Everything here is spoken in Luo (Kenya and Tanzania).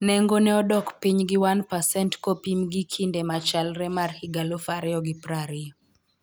Nengo ne odok piny gi 0ne pasent kopim gi kinde machalre mar higa 2020.